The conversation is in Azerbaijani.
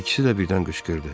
İkisi də birdən qışqırdı.